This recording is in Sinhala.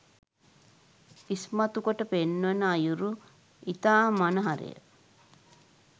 ඉස්මතු කොට පෙන්වන අයුරු ඉතා මනහරය